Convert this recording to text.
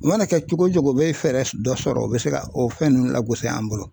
U mana kɛ cogo o cogo u bɛ fɛɛrɛ dɔ sɔrɔ u bɛ se ka o fɛn ninnu lagosi an bolo.